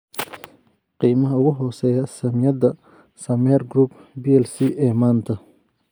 Qiimaha ugu hooseeya saamiyada Sameer Group plc ee maanta